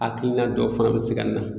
Hakilina dɔ fana be se ka na